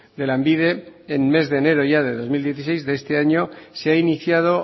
de lanbide en mes de enero ya del dos mil dieciséis de este año se ha iniciado